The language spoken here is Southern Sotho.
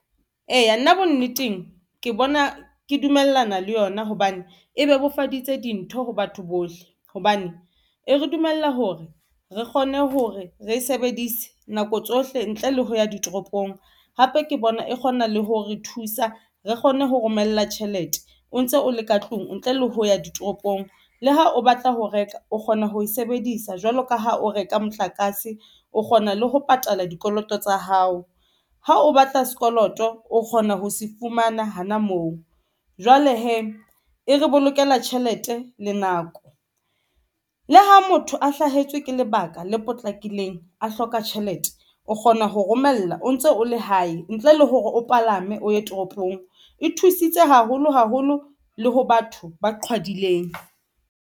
Eya, nna bonneteng ke bona ke dumellana le yona hobane e bebofaditse dintho ho batho bohle. Hobane e re dumella hore re kgone hore re e sebedise nako tsohle ntle le ho ya ditoropong, hape ke bona e kgona le ho re thusa. Re kgone ho romella tjhelete o ntse o le ka tlung ntle le ho ya ditoropong. Le ha o batla ho reka, o kgona ho e sebedisa jwalo ka ha o reka motlakase, o kgona le ho patala dikoloto tsa hao. Ha o batla sekoloto, o kgona ho se fumana hana moo. Jwale hee e re bolokela tjhelete le nako le ha motho a hlahetswe ke lebaka le potlakileng, a hloka tjhelete, o kgona ho romella o ntso o le hae ntle le hore o palame o ye toropong. E thusitse haholo, haholo le ho batho ba qhwadileng.